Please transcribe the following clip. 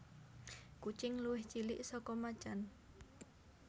Kucing luwih cilik saka macan